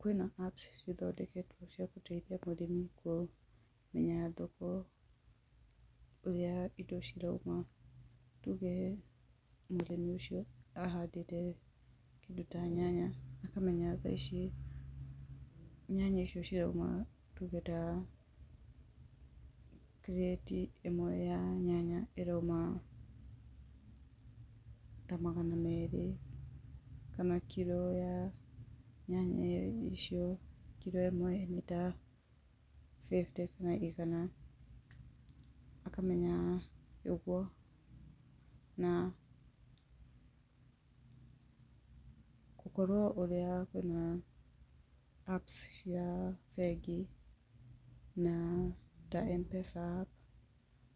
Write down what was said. Kwīna apps, cithondeketwocia gūteithia mūrīmi kū, menya thoko, ūrīa indo cirūma, tūgee, mūrīmi ūcio ahandīte, kīndū ta nyanya, akamenya thaa ici, nyanya icio ciroūma, tūge kiriti īmwe ya nyanya irouma ta magana merī, kana kilo ya nyanya icio, kilo īmwe nīta fefūte, kana igana, akamenya ūgūo, naa ,gūkorwo ūrīa, kwīna apps, cia bengi, naa, ta empesa app,